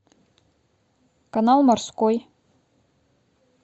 канал морской